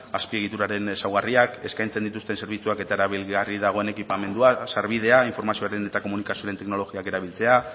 azpiegituraren ezaugarriak eskaintzen dituzten zerbitzuak eta erabilgarri dagoen ekipamendua eta sarbidea informazioaren eta komunikazioaren teknologiak erabiltzea